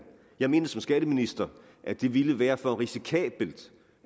jeg mente som skatteminister at det ville være for risikabelt